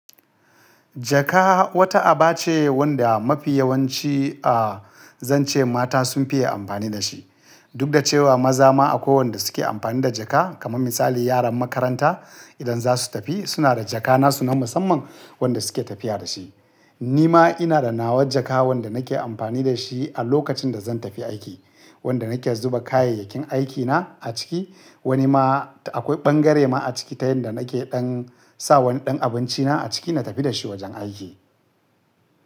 Jaka wata aba ce wanda mafi yawanci a zan ce mata sun fiye amfani da shi. Duk da cewa maza ma akwai wanda suke amfani da jaka. Kaman misali yaran makaranta idan za su tafi suna da jaka nasu na musamman wanda suke tafiya da shi. Ni ma ina da nawa jaka wanda nake amfani da shi a lokacin da zan tafi aiki. Wanda nake zuba kayayyakin aikina a ciki. Wani ma akwai bangare ma a ciki ta yanda nake ɗan sa wani ɗan abinci na a ciki na tafi da shi wajen aiki.